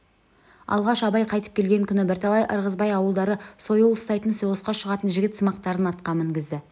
алғаш абай қайтып келген күні бірталай ырғызбай ауылдары сойыл ұстайтын соғысқа шығатын жігітсымақтарын атқа мінгізді